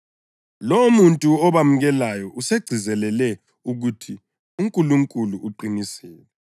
Lowomuntu obamukelayo usegcizelele ukuthi uNkulunkulu uqinisile.